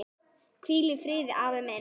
Hvíl í friði afi minn.